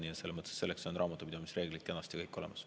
Nii et selleks on raamatupidamisreeglid kenasti olemas.